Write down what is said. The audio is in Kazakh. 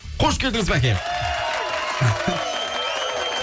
қош келдіңіз бәке